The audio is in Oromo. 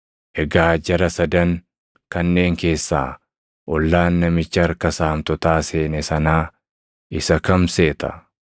“Egaa jara sadan kanneen keessaa ollaan namicha harka saamtotaa seene sanaa isa kam seeta?”